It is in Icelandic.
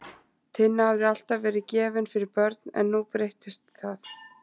Tinna hafði alltaf verið gefin fyrir börn en nú breyttist það.